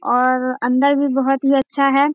और अंदर भी बहुत ही अच्छा है।